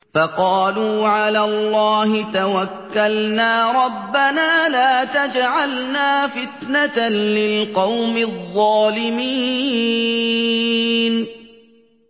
فَقَالُوا عَلَى اللَّهِ تَوَكَّلْنَا رَبَّنَا لَا تَجْعَلْنَا فِتْنَةً لِّلْقَوْمِ الظَّالِمِينَ